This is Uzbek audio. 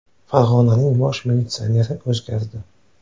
Farg‘onaning bosh militsioneri o‘zgardi.